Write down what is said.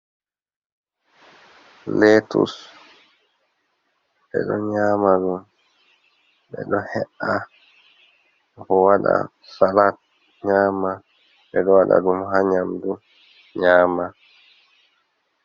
Letus ɓe ɗo nyama ɗum, ɓe ɗo he’a, bo waɗa salat nyama, ɓeɗo waɗa ɗum ha nyamdu nyama.